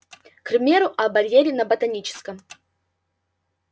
к примеру о барьере на ботаническом